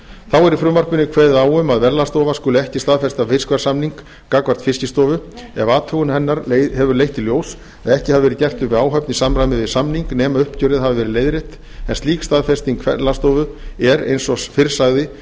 þá er í frumvarpinu kveðið á um að verðlagsstofa skuli ekki staðfesta fiskverðssamning gagnvart fiskistofu ef athugun hennar hefur leitt í ljós að ekki hafi verið gert upp við áhöfn í samræmi við samning nema uppgjörið hafi verið leiðrétt en slík staðfesting verðlagsstofu er eins og fyrr sagði